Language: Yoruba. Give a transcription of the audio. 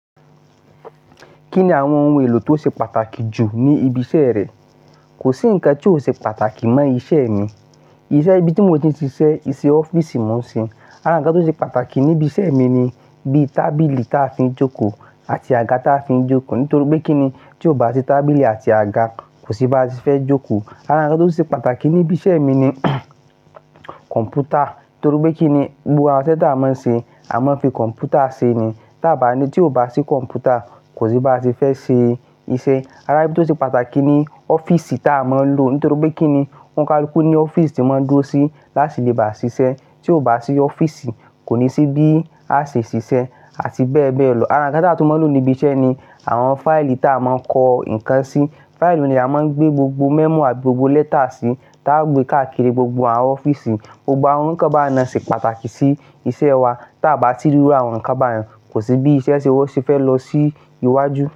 Kí ni àwọn ohun èlò tó ṣe pàtàkì jù ní ibi iṣẹ́ rẹ? Kò sí ǹkan tí ò ṣe pàtàkì mọ́ iṣẹ́ mi. Iṣẹ́ ibi tí mo ti ń ṣiṣẹ́, isẹ́ ọ́fíìsì mo ń ṣe. Ara ǹkan tó ṣe pàtàkì níbi iṣẹ́ mi ni bíi tábìlì ta fi ń jókòó àti àga ta fi ń jókòó. Nítorí pé kí ni tí o bá ti tábìlì àti àga kò sí bá ti fẹ́ jókòó. Ara ǹkan tó ṣe pàtàkì níbi iṣẹ́ mi ni kọ̀m̀pútà. Nítorí pé kí ni gbogbo àwọn iṣẹ́ tí a máa ń ṣe, a máa ń fi kọ̀m̀pútà ṣe ni. Tí a bá ní tí ò bá sí kọ̀m̀pútà kò sí bá ti fẹ́ ṣe iṣẹ́. Ara ibi tó ṣe pàtàkì ní ọ́fíìsì ta a máa ń lò. Nítorí pé kí ni ohun karùn-ún pọ́n ní ọ́fíìsì tí mọ́n ń dúró sí láti lè bá ṣiṣẹ́. Tí o bá sí ọ́fíìsì kò ní sí bí a ṣe ṣiṣẹ́ àti bẹ́ẹ̀ bẹ́ẹ̀ lọ. Ara ǹkan taa tún máa ń lò níbi iṣẹ́ ni àwọn fáìlì ta a máa ń kọ nǹkan sí. Fáìlì ni a máa ń gbé gbogbo memo àti gbogbo lẹ́tà sì ta gbé káàkiri gbogbo àwọn ọ́fíìsì. Gbogbo àwọn ǹkan bá nà sì pàtàkì sí iṣẹ́ wa. Tí a bá ti rú àwọn ǹkan báyìí kò sí bí iṣẹ́ ṣé wo ṣe fẹ́ lọ sí iwájú.